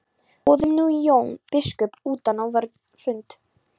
Boðum nú Jón biskup utan á vorn fund.